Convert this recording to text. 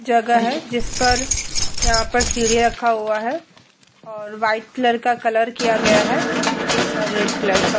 जगह है। जिस पर यहां पर सीढ़िया रखा हुआ है और व्हाइट कलर का कलर किया गया है और रेड कलर का।